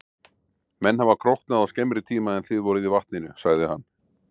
Menn hafa króknað á skemmri tíma en þið voruð í vatninu, sagði hann.